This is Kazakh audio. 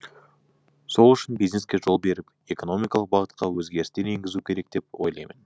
сол үшін бизнеске жол беріп экономикалық бағытқа өзгерістер енгізу керек деп ойлаймын